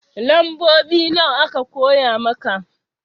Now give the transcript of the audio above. Lambobi nawa aka koya maka?